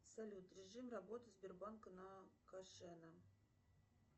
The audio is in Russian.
салют режим работы сбербанка на кашена